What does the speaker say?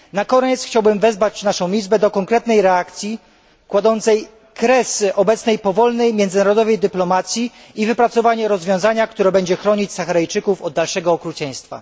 Na koniec chciałbym wezwać nasz Parlament do konkretnej reakcji kładącej kres obecnej powolnej międzynarodowej dyplomacji i wypracowania rozwiązania, które będzie chronić Saharyjczyków od dalszego okrucieństwa.